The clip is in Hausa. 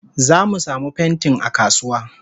Zamu samu pentin akasuwa.